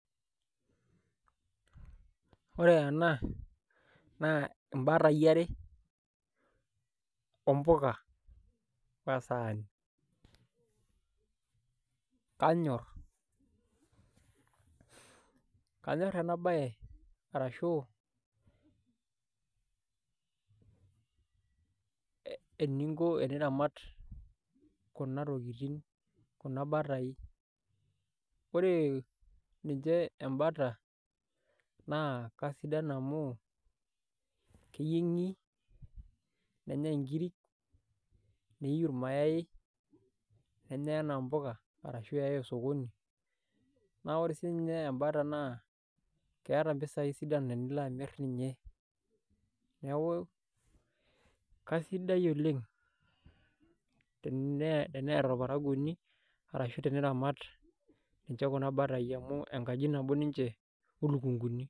Ore ena naa imbatai are ompuka osaani kanyorr, kanyorr ena baye arashu eninko teniramat kuna tokitin kuna bataai ore ninche embata naa kasidan amu keyieng'i nenyai nkiri niyiu irmayai nenyai enaa mpuka arashu eyai osokoni naa ore sininye embata naa keeta mpisaai sidan enilo amirr ninye, neeku kaisidai oleng' teneeta orparakuoni arashu teniramat inche kuna batai amu enkaji nabo ninche oluukunguni.